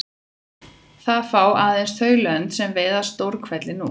Það fá aðeins þau lönd sem veiða stórhveli nú.